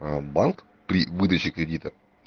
а банк при выдаче кредита